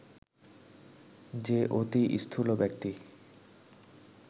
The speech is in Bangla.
যে অতি স্থূল ব্যক্তি